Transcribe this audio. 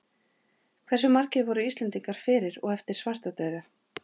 Hversu margir voru Íslendingar fyrir og eftir svartadauða?